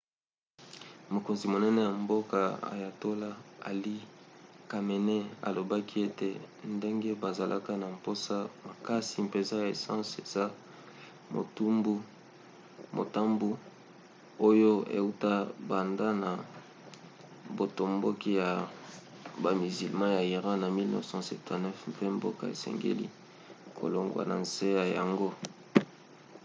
mokonzi monene ya mboka ayatollah ali khamenei alobaki ete ndenge bazalaka na mposa makasi mpenza ya essence eza motambu oyo euta banda na botomboki ya bamizilma ya iran na 1979 mpe mboka esengeli kolongwa na nse na yango